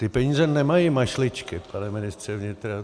Ty peníze nemají mašličky, pane ministře vnitra.